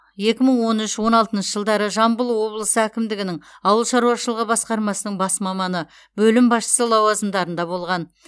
екі мың он үш он алтыншы жылдары жамбыл облысы әкімдігінің ауыл шаруашылығы басқармасының бас маманы бөлім басшысы лауазымдарында болған